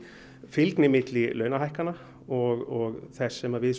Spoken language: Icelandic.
fylgni milli launahækkana og þess sem við